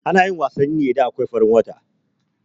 Anayin wasanni ne idan akwai farin wata